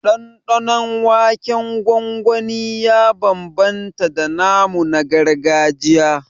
Ɗanɗanon waken gwangwani ya bambamta da namu na gargajiya